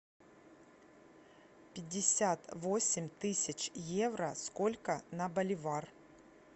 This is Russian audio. пятьдесят восемь тысяч евро сколько на боливар